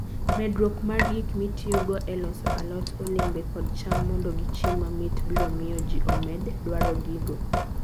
Medruok mar gik mitiyogo e loso alot, olembe, kod cham mondo gichiem mamit, biro miyo ji omed dwaro gigo.